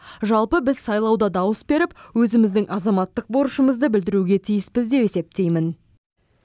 жалпы біз сайлауда дауыс беріп өзіміздің азаматтық борышымызды білдіруге тиіспіз деп есептеймін